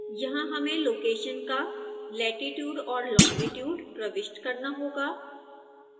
यहां हमें लोकेशन का लेटिट्यूड और लोंगिट्यूड प्रविष्ट करना होगा